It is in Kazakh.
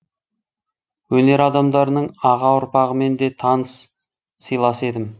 өнер адамдарының аға ұрпағымен де таныс сыйлас едім